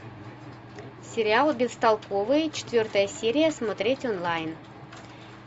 сериал бестолковые четвертая серия смотреть онлайн